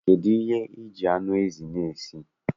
Kedụ ihe I ji anụ ezi a esi?